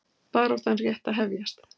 Baráttan rétt að hefjast